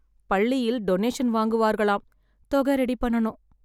பள்ளியில் டொனேஷன் வாங்குவார்களாம், தொகை ரெடி பண்ணனும்.